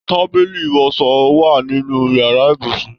Tábìlì iwọsọ wa nínú yàrá ibùsùn